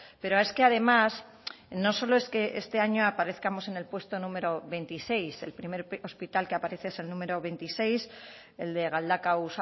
pero es que además no solo es que este año aparezcamos en el puesto número veintiséis el primer hospital que aparece es el número veintiséis el de galdakao